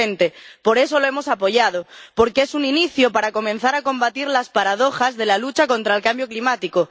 2020. Por eso lo hemos apoyado, porque es un inicio para comenzar a combatir las paradojas de la lucha contra el cambio climático.